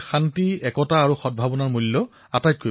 ৰাম মন্দিৰৰ ৰায়দান অহাৰ পিছত সমগ্ৰ দেশে ইয়াক আঁকোৱালি ললে